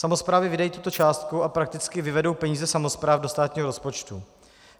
Samosprávy vydají tuto částku a prakticky vyvedou peníze samospráv do státního rozpočtu.